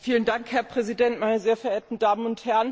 Herr Präsident, meine sehr verehrten Damen und Herren!